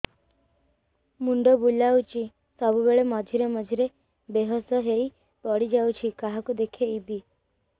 ମୁଣ୍ଡ ବୁଲାଉଛି ସବୁବେଳେ ମଝିରେ ମଝିରେ ବେହୋସ ହେଇ ପଡିଯାଉଛି କାହାକୁ ଦେଖେଇବି